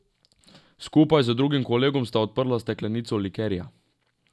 Skupaj z drugim kolegom sta odprla steklenico likerja.